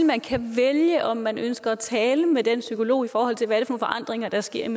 man kan vælge om man ønsker at tale med den psykolog i forhold til hvad er forandringer der sker